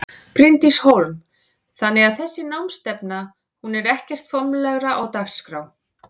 Bryndís Hólm: Þannig að þessi námsstefna hún er ekkert formlegra á dagskrá?